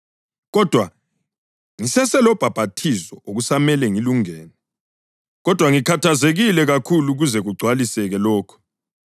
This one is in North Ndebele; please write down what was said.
Kodwa ngiseselobhaphathizo okusamele ngilungene, kodwa ngikhathazekile kakhulu kuze kugcwaliseke lokho!